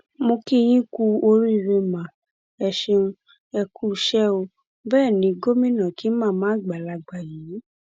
mo kí yín kúú oríire má ẹ ṣeun ẹ kúuṣẹ ó bẹẹ ní gómìnà kí màmá àgbàlagbà yìí